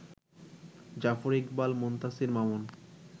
Zafar Iqbal, Muntassir Mamun